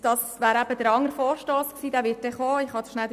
Das betrifft meinen zweiten Vorstoss , der noch kommen wird.